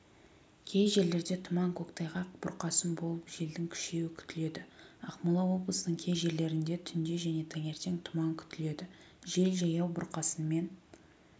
кей жерлерде тұман көктайғақ бұрқасын болып желдің күшеюі күтіледі ақмола облысының кей жерлерінде түнде және таңертең тұман күтіледі жел жаяу бұрқасынмен